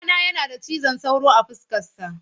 Ɗana yana da cizon sauro a fuskarsa.